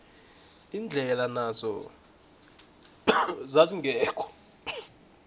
indlela nazo zazingekho